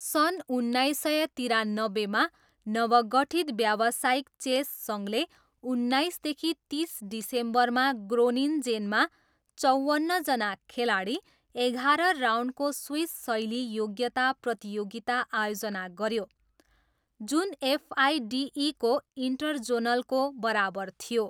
सन् उन्नाइस सय तिरानब्बेमा, नवगठित व्यावसायिक चेस सङ्घले उन्नाइसदेखि तिस डिसेम्बरमा ग्रोनिन्जेनमा चवन्नजना खेलाडी, एघाह्र राउन्डको स्विस शैली योग्यता प्रतियोगिता आयोजना गऱ्यो, जुन एफआइडिईको इन्टरजोनलको बराबर थियो।